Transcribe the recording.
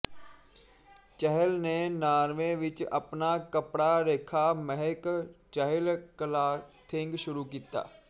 ਚਹਿਲ ਨੇ ਨਾਰਵੇ ਵਿੱਚ ਆਪਣਾ ਕੱਪੜਾ ਰੇਖਾ ਮਹਿਕ ਚਹਿਲ ਕਲਾਥਿੰਗ ਸ਼ੁਰੂ ਕੀਤਾ